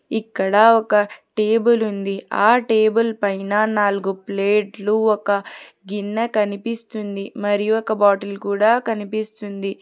ఇక్కడ ఒక టేబుల్ ఉంది ఆ టేబుల్ పైన నాలుగు ప్లేట్లు ఒక గిన్నె కనిపిస్తుంది మరియు ఒక బాటిల్ కూడ కనిపిస్తుంది.